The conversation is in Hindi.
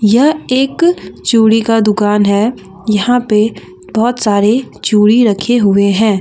यह एक चूड़ी का दुकान है यहां पे बहोत सारे चूड़ी रखे हुए हैं।